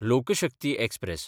लोक शक्ती एक्सप्रॅस